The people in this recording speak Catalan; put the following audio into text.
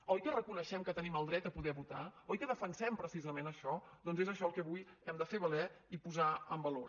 oi que reconeixem que tenim el dret a poder votar oi que defensem precisament això doncs és això el que avui hem de fer valer i posar en valor